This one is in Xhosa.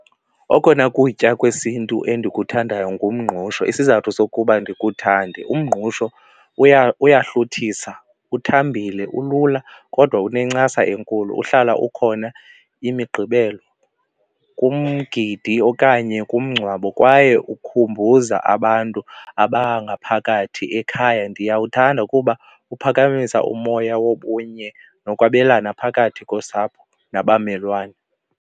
Okona kutya kwesiNtu endikuthandayo ngumngqusho, isizathu sokuba ndiwuthande umngqusho uyahluthisa, uthambile, ulula kodwa unencasa enkulu uhlala ukhona imigqibelo, kumgidi okanye kumngcwabo kwaye ukhumbuza abantu abangaphakathi ekhaya. Ndiyawuthanda kuba uphakamisa umoya wobunye nokwabelana phakathi kosapho nabamelwane.